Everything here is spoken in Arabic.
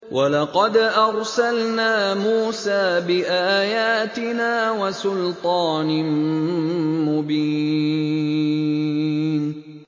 وَلَقَدْ أَرْسَلْنَا مُوسَىٰ بِآيَاتِنَا وَسُلْطَانٍ مُّبِينٍ